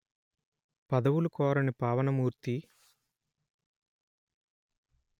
పదవులు కోరని పావన మూర్తీ